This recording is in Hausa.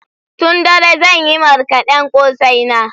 Tun dare zan yi marƙaden kosai na